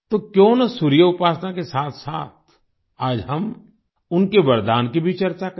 तो क्यों न सूर्य उपासना के साथसाथ आज हम उनके वरदान की भी चर्चा करें